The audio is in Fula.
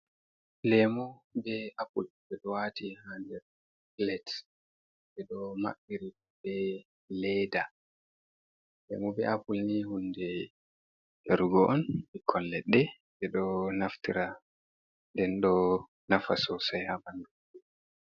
Lemu be apple ɓe ɗo wati ha nder plets, ɓe ɗo maɓɓiri plet mai be leda, lemu be apple ni hunde yarugo on bikkon leɗɗe je ɗo naftira ra nden ɗo nafa sosai ha ɓandu.